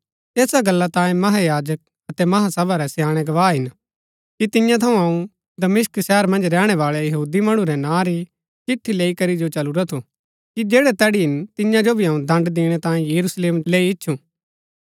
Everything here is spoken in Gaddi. ऐसा गल्ला तांयें महायाजक अतै महासभा रै स्याणै गवाह हिन कि तियां थऊँ अऊँ दमिशक शहर मन्ज रैहणै बाळै यहूदी मणु रै नां री चिट्ठी लैई करी जो चलुरा थु कि जैड़ै तैड़ी हिन तियां जो भी दण्ड़ दिणै तांयें यरूशलेम जो लैई इच्छु